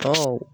Tɔw